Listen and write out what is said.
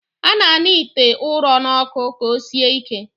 A na-aṅa ite ụrọ n'ọkụ ka o sie ike